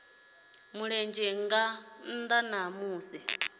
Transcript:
mulenzhe nga nnda ha musi